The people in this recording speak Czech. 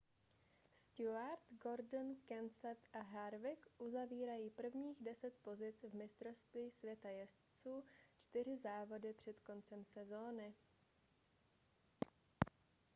stewart gordon kenseth a harvick uzavírají prvních deset pozic v mistrovství světa jezdců čtyři závody před koncem sezóny